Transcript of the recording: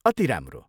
अति राम्रो!